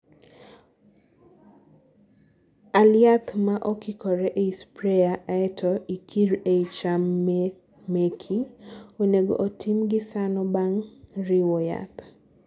all yath ma okikore ei sprayer aeto ikir eei cham meki(onego otim gi sano bang' riwo yath)